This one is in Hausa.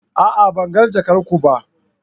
A'a! Ban ga jakar ku ba.